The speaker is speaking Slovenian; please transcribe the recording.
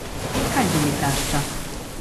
Kaj želi tašča?